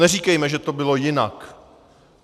Neříkejme, že to bylo jinak.